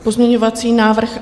Pozměňovací návrh